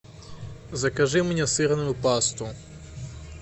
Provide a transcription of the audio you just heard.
закажи мне сырную пасту